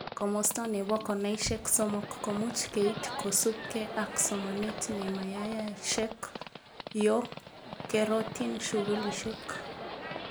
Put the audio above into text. Komosta nebo konaishek somok komuch keit kosubke ak somanet nemayayashek yo kerotin shukulishek